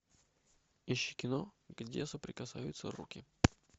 ищи кино где соприкасаются руки